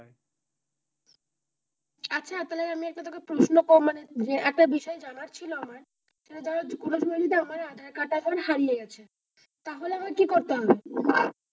আচ্ছা তাহলে আমি তোকে একটা প্রশ্ন করবো মানে যে একটা বিষয় জানার ছিল আমার যে ধর কোনো সময় যদি আমার আধার কার্ডটা এখন হারিয়ে গিয়েছে তাহলে আমার কি করতে হবে?